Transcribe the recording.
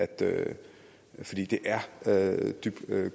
det er er dybt